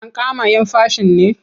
Ankama 'yan fashin ne?